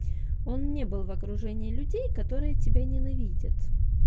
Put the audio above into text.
он мне был в окружении людей который тебя ненавидит